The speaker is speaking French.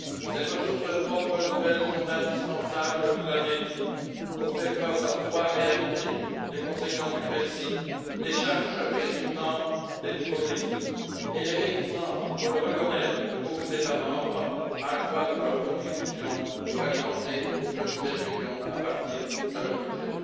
Ces ressources propres nouvelles sont indispensables, vous l'avez dit, pour faire face à trois réalités les conséquences du Brexit, les charges résultant des nouveaux défis et les réticences, il faut le reconnaître, de beaucoup d'États membres à accroître leur contribution pour alimenter le budget de l'Union à partir de leur budget.